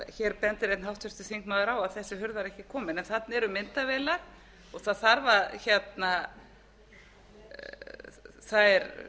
hér bendir einn háttvirtur þingmaður á að þessi hurð var ekki komin en þarna eru myndavélar og fylgst er